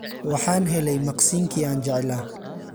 Waxaan helay maqsinkii aan jeclaa.